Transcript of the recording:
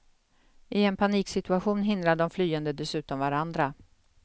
I en paniksituation hindrar de flyende dessutom varandra.